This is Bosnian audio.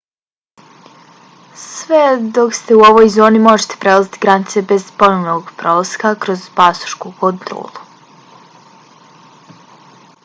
sve dok ste u ovoj zoni možete prelaziti granice bez ponovnog prolaska kroz pasošku kontrolu